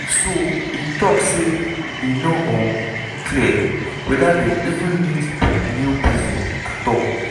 so e tok say "e no um clear whether dem even need new prison at all."